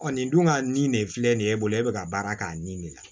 nin dun ka nin de filɛ nin ye e bolo e bɛ ka baara k'a nin de la